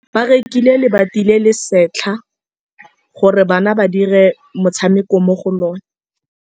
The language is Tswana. Ba rekile lebati le le setlha gore bana ba dire motshameko mo go lona.